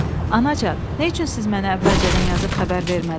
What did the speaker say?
Anacan, nə üçün siz mənə əvvəlcədən yazıb xəbər vermədiniz?